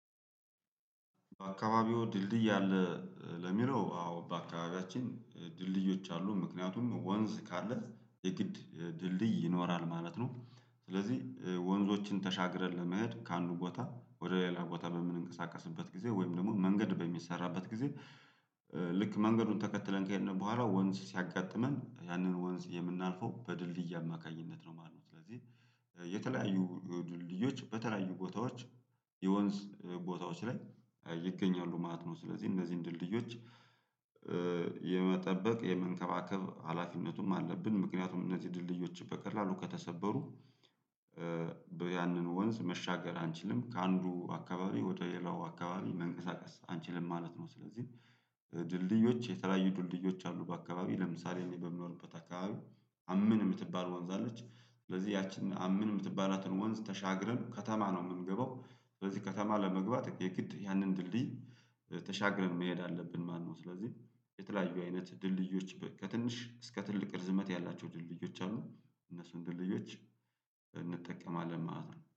በአካባቢዎ ድልድይ አለ። ለሚለው አዎ በአካባቢያችን ድልድዮች አሉ ምክንያቱም ወንዝ ካለ የግድ ድልድይ ይኖራል ማለት ነው። ስለዚህ ወንዞችን ተሻግረልን ለመሄድ ከአንዱ ቦታ ወደ ሌላ ቦታ በምንንቀሳቀስበት ጊዜ ወይም ደግሞ መንገድ በሚሰራበት ጊዜ። ልክ መንገዱን ተከትለን ከሄድን በኋላ ወንዝ ሲያጋጥመን ያንን ወንዝ የምናልፈው በድልድይ አማካኝነት ነው ማለት ነው። ስለዚህ የተለያዩ ድልድዮች በተለያዩ ቦታዎች የወንዝ ቦታዎች ላይ ይገኛሉ ማለት ነው። ስለዚህ እነዚህን ድልድዮች የመጠበቅ የመንከባከብ ሀላፊነቱም አለብን። ምክንያቱም እነዚህ ድልድዮች በቀላሉ ከተሰበሩ ያንን ወንዝ መሻገር አንችልም። ከአንዱ አካባቢ ወደ ሌላው አካባቢ መንቀሳቀስ አንችልም ማለት ነው። ስለዚህ ድልድዮች የተለያዩ ድልድዮች አሉ በአካባቢ ለምሳሌ እኔ በምኖርበት አካባቢ አምን የምትባል ዋንዛለች። ስለዚህ ያችን አምን የምትባላትን ወንዝ ተሻግረን ከተማ ነው የምንገባው ስለዚህ ከተማ ለመግባት የግድ ያንን ድልድይ ተሻግረን መሄድ አለብን። ማነው ስለዚህ የተለያዩ አይነት ድልድዮች ከትንሽ እስከ ትልቅ ርዝመት ያላቸው ድልድዮች አሉ። እነሱን ድልድዮች እንጠቀማለን ማለት ነው